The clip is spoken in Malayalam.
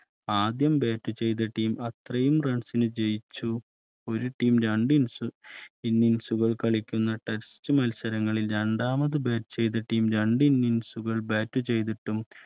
ആദ്യം Bat ചെയ്ത Team അത്രയും Runs ന് ജയിച്ചു ഒരു Team രണ്ട്ഇന്നിംഗ്സുകളിൽ കളിക്കുന്ന Text മത്സരങ്ങളിൽ രണ്ടാമത് Bat ചെയ്ത Team രണ്ടിന്നിംഗ്സ് സുകൾ Bat ചെയ്തിട്ടും